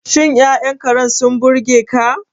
Shin Ya'yan Karen sun burge ka?